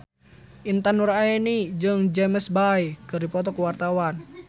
Intan Nuraini jeung James Bay keur dipoto ku wartawan